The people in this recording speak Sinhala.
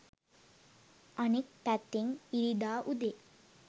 අනෙක් පැත්තෙන් ඉරිදා උදේ